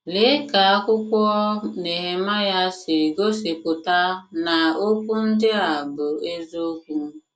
Lee ka akwụkwọ Nehemaịa si gosipụta na okwu ndị a bụ eziokwu!